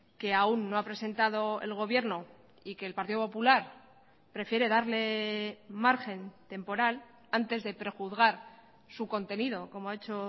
que aún no ha presentado el gobierno y que el partido popular prefiere darle margen temporal antes de prejuzgar su contenido como ha hecho